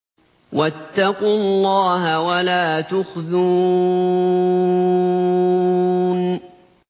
وَاتَّقُوا اللَّهَ وَلَا تُخْزُونِ